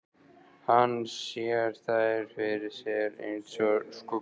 Hann sér þær fyrir sér einsog skuggamyndir.